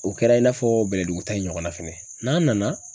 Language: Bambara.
O kɛra i n'a fɔ bɛlɛdugu ta in ɲɔgɔn na fɛnɛ .N'an nana